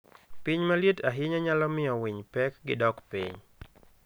Piny maliet ahinya nyalo miyo winy pek gi dok piny.